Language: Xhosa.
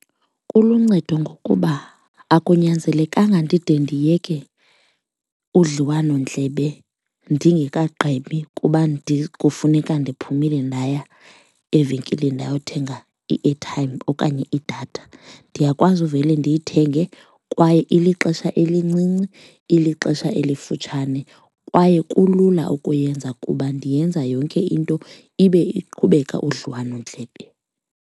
Kuluncedo ngokuba akunyanzelekanga ndide ndiyeke udliwanondlebe ndingekagqibi kuba kufuneka ndiphumile ndaya evenkileni ndayothenga i-airtime okanye idatha, ndiyakwazi uvele ndithenge. Kwaye ilixesha elincinci, ilixesha elifutshane kwaye kulula ukuyenza kuba ndiyenza yonke into ibe iqhubeka udliwanondlebe.